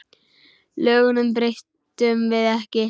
Lögunum breytum við ekki.